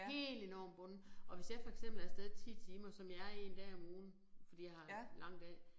Helt enormt bundet og hvis jeg for eksempel er af sted 10 timer som jeg er 1 dag om ugen fordi jeg har lang dag